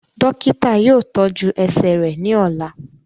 Dokita yoo tọju ẹsẹ rẹ ni ọla.